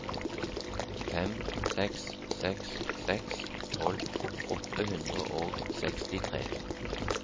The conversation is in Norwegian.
fem seks seks seks tolv åtte hundre og sekstitre